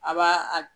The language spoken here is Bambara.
A b'a a